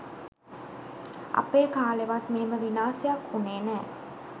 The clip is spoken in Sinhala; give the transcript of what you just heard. අපේ කාලෙවත් මෙහෙම විනාසයක් වුනේ නෑ